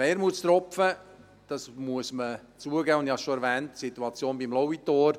Ein Wermutstropfen – das muss man zugeben, und ich habe es bereits erwähnt – ist die Situation beim Lauitor.